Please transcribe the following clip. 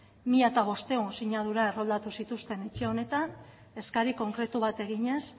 mila bostehun sinadura erroldatu zituzten etxe honetan eskari konkretu bat eginez